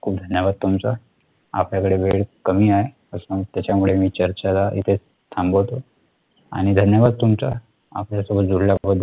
खूप धन्यवाद. तुमचा आपल्याकडे वेळ कमी आहे पासून त्याच्यामुळे मी चर्चा इथे थांबतो आणि धन्यवाद तुमच्या आपल्या सोबत जोडल्या बद्दल